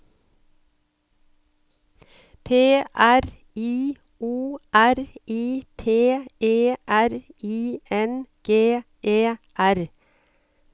P R I O R I T E R I N G E R